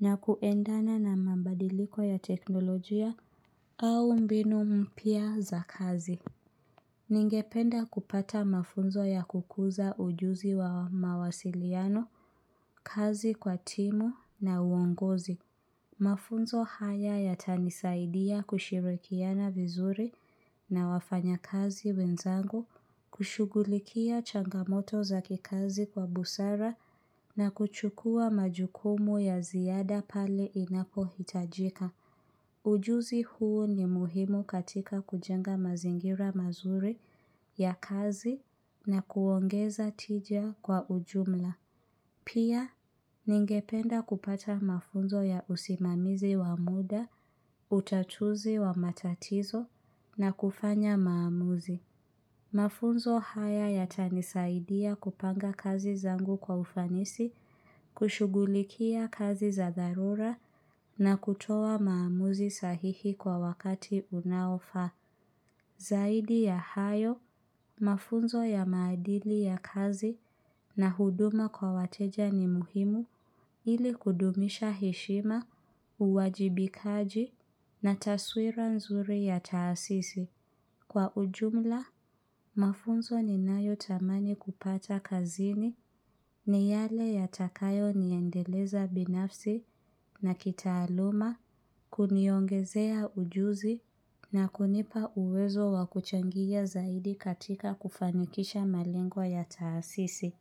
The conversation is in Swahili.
na kuendana na mabadiliko ya teknolojia. Au mbinu mpya za kazi. Ningependa kupata mafunzo ya kukuza ujuzi wa mawasiliano, kazi kwa timu na uongozi. Mafunzo haya yatanisaidia kushirikiana vizuri na wafanya kazi wenzangu, kushughulikia changamoto za kikazi kwa busara na kuchukua majukumu ya ziada pale inapo hitajika. Ujuzi huu ni muhimu katika kujenga mazingira mazuri ya kazi na kuongeza tija kwa ujumla. Pia, ningependa kupata mafunzo ya usimamizi wa muda, utatuzi wa matatizo na kufanya maamuzi. Mafunzo haya yata nisaidia kupanga kazi zangu kwa ufanisi, kushughulikia kazi za dharura na kutoa maamuzi sahihi kwa wakati unaofaa. Zaidi ya hayo, mafunzo ya maadili ya kazi na huduma kwa wateja ni muhimu ili kudumisha heshima, uwajibikaji na taswira nzuri ya taasisi. Kwa ujumla, mafunzo ni nayo tamani kupata kazini ni yale ya takayo niendeleza binafsi na kitaaluma kuniongezea ujuzi na kunipa uwezo wa kuchangia zaidi katika kufanikisha malengo ya taasisi.